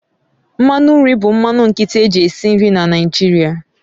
Mmanụ nri bụ mmanụ nkịtị eji esi nri na Naịjirịa